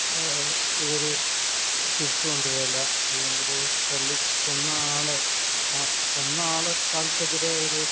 ഇവര് തിരിച്ചു കൊണ്ടുവരില്ല അല്ലെങ്കിൽ തല്ലിക്കൊന്ന ആളെ കണി ആൾക്കെതിരെ